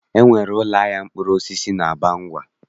E nwere ụlọahịa mkpụrụosisi n'Abangwa